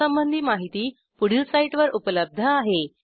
यासंबंधी माहिती पुढील साईटवर उपलब्ध आहे